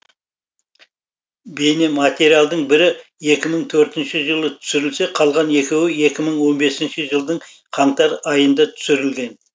бейнематериалдардың бірі екі мың төртінші жылы түсірілсе қалған екеуі екі мың он бесінші жылдың қаңтар айында түсірілген